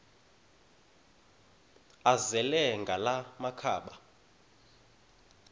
azele ngala makhaba